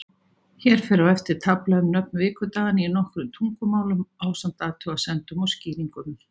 Hér fer á eftir tafla um nöfn vikudaganna í nokkrum tungumálum, ásamt athugasemdum og skýringum.